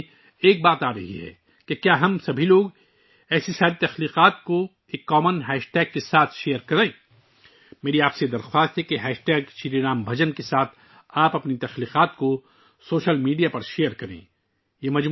میرے ذہن میں ایک بات آتی ہے... کیا ہم سب ایک مشترکہ ہیش ٹیگ کے ساتھ ایسی تمام تخلیقات کا اشتراک کر سکتے ہیں؟ میری آپ سے اپیل ہے کہ اپنی تخلیقات کو سوشل میڈیا پر ہیش ٹیگ شری رام بھجن شریرمبھاجن کے ساتھ شیئر کریں